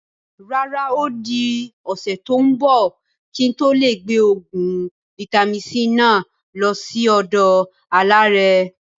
Rárá, odi ọ̀sẹ̀ tòun bọ̀ kí n tó gbé oògùn vitamin-c náà lọ síí ọ̀dọ àlàrẹ́